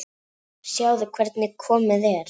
Sjáðu hvernig komið er.